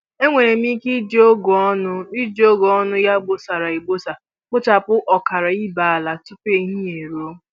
Enwere m ike iji ọgụ ọnụ iji ọgụ ọnụ ya bọsara abọsa kpochapụ ọkara ibe ala tụpụ ehihie e ruo